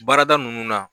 Baarada ninnu na